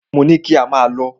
Mo ní kí ò máà lọ!